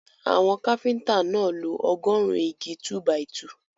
Àwọn káfíńtà náà lo ọgọ́ọ̀rún igi 2-by-2.